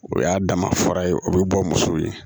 O y'a dama fara ye o bɛ bɔ muso ye